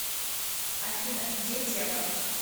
афина где тело